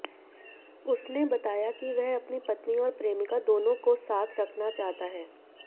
उसने बताया कि वह अपनी पत्नी और प्रेमिका दोनों को साथ रखना चाहता है